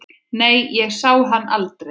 Nei, ég sá hann aldrei.